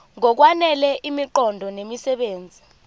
ngokwanele imiqondo nemisebenzi